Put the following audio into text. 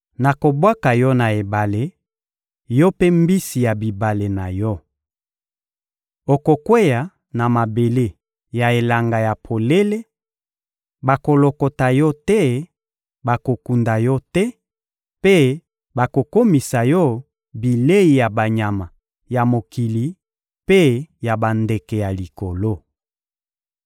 Nakobwaka yo na esobe, yo mpe mbisi ya bibale na yo. Okokweya na mabele ya elanga ya polele; bakolokota yo te, bakokunda yo te; mpe nakokomisa yo bilei ya banyama ya mokili mpe ya bandeke ya likolo.